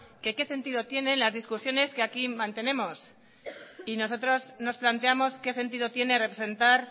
que qué sentido tiene la discusiones que aquí mantenemos y nosotros nos planteamos qué sentido tiene representar